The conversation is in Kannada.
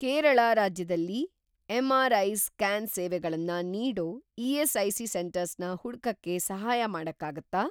ಕೇರಳ ರಾಜ್ಯದಲ್ಲಿ ಎಂ.ಆರ್.ಐ. ಸ್ಕ್ಯಾನ್ ಸೇವೆಗಳನ್ನ ನೀಡೋ ಇ.ಎಸ್.ಐ.ಸಿ. ಸೆಂಟರ್ಸ್‌ನ ಹುಡ್ಕಕ್ಕೆ ಸಹಾಯ ಮಾಡಕ್ಕಾಗತ್ತಾ?